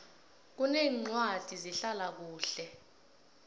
kuneencwadi zehlala kuhle